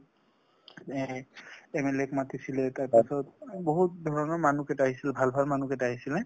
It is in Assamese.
এ MLA ক মতিছিলে , তাৰ পিছত বহুত ধৰণৰ মানুহ কেইটা আহিছিলে । ভাল ভাল মানুহ কেইটা আহিছিলে।